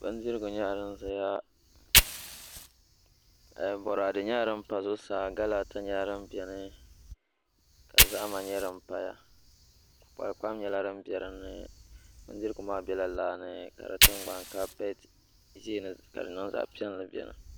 Bindirigu nyɛla din ʒɛya boraadɛ nyɛla din pa zuɣusaa gala ata nyɛla din biɛni ka zahama nyɛ din paya kukpal kpam nyɛla din bɛ dinni bindigu maa bɛla laa ni ka di tingbani kaapɛt ʒiini ka di niŋ zaɣ piɛli biɛni